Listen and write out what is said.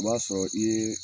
O b'a sɔrɔ i yee